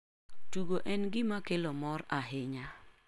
Tugo en gima kelo mor ahinya.